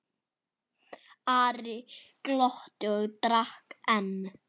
Ari glotti og drakk enn.